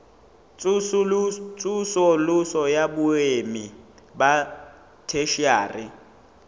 tsosoloso ya boemo ba theshiari